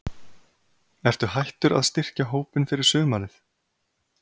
Ertu hættur að styrkja hópinn fyrir sumarið?